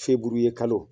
Feburuyekalo